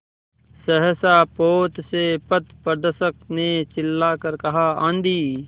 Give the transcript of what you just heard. सहसा पोत से पथप्रदर्शक ने चिल्लाकर कहा आँधी